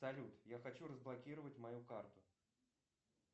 салют я хочу разблокировать мою карту